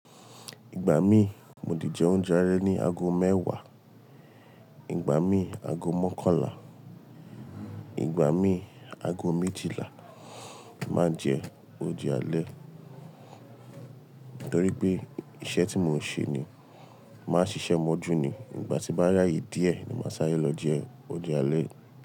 Ìgbà mí mo di jẹ oúnjẹ alẹ́ ní ago mẹ́wàá, ìgbà mí ago mọ́kànlá, ìgbà mí ago méjìlá, má jẹ oúnjẹ alẹ́ torí pé iṣẹ́ tí mò ń ṣe ni máa ṣiṣẹ́ mọ́jú ni ìgbà tí màá ráyè díẹ̀ ni màá saré lọ jẹ oúnjẹ alẹ́